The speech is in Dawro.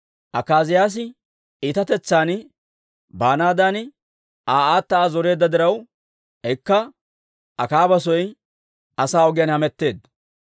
Akaaziyaasi iitatetsan baanaadan Aa aata Aa zoreedda diraw, ikka Akaaba soy asaa ogiyaan hametteedda.